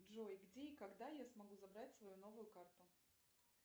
джой где и когда я смогу забрать свою новую карту